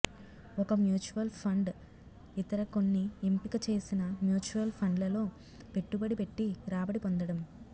ఒక mutual fund ఇతర కొన్ని ఎంపిక చేసిన మ్యూచువల్ ఫండ్లలో పెట్టుబడి పెట్టి రాబడి పొందడం